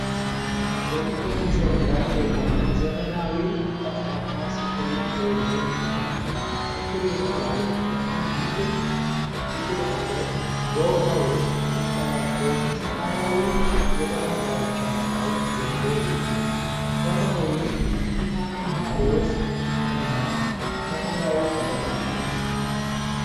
በጥቁር መሠረት ላይ የቆመ ዘመናዊ ጠፍጣፋ ስክሪን ቴሌቪዥን አለ። ስክሪኑ ላይ፣ አንድ ትልቅ ጥቁር ዓለት በውሃ ውስጥ ተንጸባርቆ በሰማያዊ የባህር ዳርቻ ላይ ጎልቶ ይታያል። ሰማዩ ብርቱካናማ፣ ሮዝ እና ሰማያዊ ቀለም አለው።